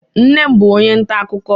Nne m bụ onye nta akụkọ